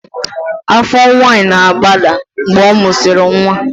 Afọ nwanyị na-agbada mgbe ọ mụsịrị nwa